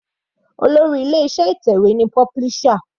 Olórí ilé iṣẹ́ ìtẹ̀wé ni publisher.